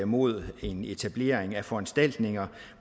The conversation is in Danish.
mod en etablering af foranstaltninger